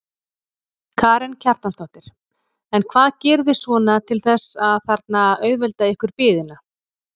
Karen Kjartansdóttir: En hvað gerið þið svona til þess að þarna auðvelda ykkur biðina?